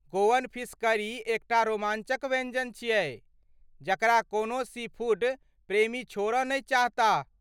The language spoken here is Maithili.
गोअन फिश करी एकटा रोमांचक व्यञ्जन छियै जकरा कोनो सीफूड प्रेमी छोड़ऽ नहि चाहताह।